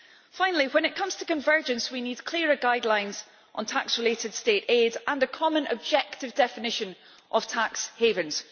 Finally, when it comes to convergence we need clearer guidelines on tax-related state aid and a common, objective definition of tax havens.